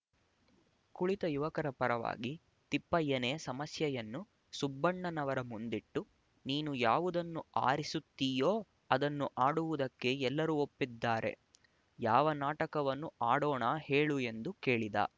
ಕುಳಿತ ಯುವಕರ ಪರವಾಗಿ ತಿಪ್ಪಯ್ಯನೇ ಸಮಸ್ಯೆಯನ್ನು ಸುಬ್ಬಣ್ಣನವರ ಮುಂದಿಟ್ಟು ನೀನು ಯಾವುದನ್ನು ಆರಿಸುತ್ತೀಯೋ ಅದನ್ನು ಆಡುವುದಕ್ಕೆ ಎಲ್ಲರೂ ಒಪ್ಪಿದ್ದಾರೆ ಯಾವ ನಾಟಕವನ್ನು ಆಡೋಣ ಹೇಳು ಎಂದು ಕೇಳಿದ